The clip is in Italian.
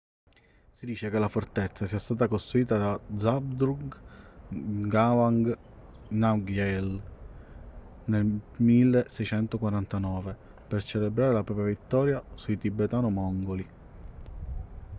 si dice che la fortezza sia stata costruita da zhabdrung ngawang namgyel nel 1649 per celebrare la propria vittoria sui tibetano-mongoli